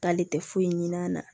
K'ale tɛ foyi ɲin'a na